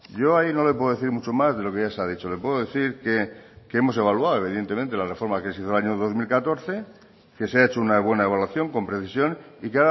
yo ahí no le puedo decir mucho más de lo que ya se ha dicho le puedo decir que hemos evaluado evidentemente la reforma que se hizo en el año dos mil catorce que se ha hecho una buena evaluación con precisión y